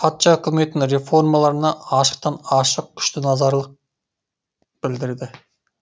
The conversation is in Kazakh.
патша үкіметінің реформаларына ашықтан ашық күшті назарлық білдірді